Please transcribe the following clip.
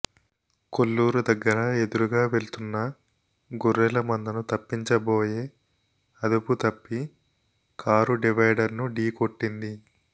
కొల్లూరు దగ్గర ఎదురుగా వెళ్తున్న గొర్రెల మందను తప్పించబోయే అదుపుతప్పి కారు డివైడర్ను ఢీ కొట్టింది